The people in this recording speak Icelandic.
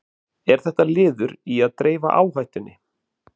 Er þetta liður í að dreifa áhættunni?